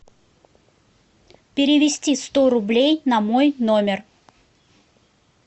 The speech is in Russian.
перевести сто рублей на мой номер